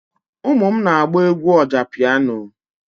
Ụmụ m na-agba egwú ọjá pịyano,